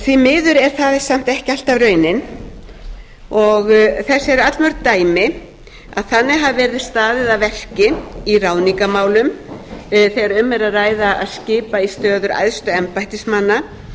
því miður er það samt ekki alltaf raunin og þess eru allmörg dæmi að þannig hafi verið staðið að verki í ráðningarmálum þegar um er að ræða að skipa í stöður æðstu embættismanna